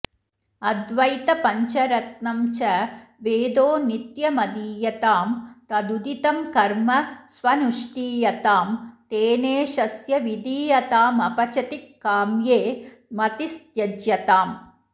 अद्वैतपङ्चरत्नम् च वेदो नित्यमधीयतां तदुदितं कर्म स्वनुष्ठीयतां तेनेशस्य विधीयतामपचितिः काम्ये मतिस्त्यज्यताम्